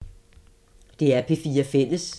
DR P4 Fælles